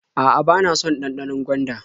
A'a, bana son ɗanɗanon gwanda.